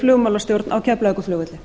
flugmálastjórn á keflavíkurflugvelli